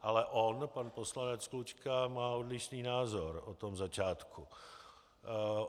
Ale on, pan poslanec Klučka má odlišný názor o tom začátku.